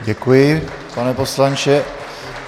Děkuji, pane poslanče.